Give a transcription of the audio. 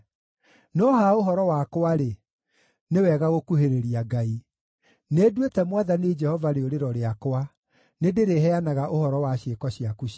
No ha ũhoro wakwa-rĩ, nĩ wega gũkuhĩrĩria Ngai. Nĩnduĩte Mwathani Jehova rĩũrĩro rĩakwa; nĩndĩrĩheanaga ũhoro wa ciĩko ciaku ciothe.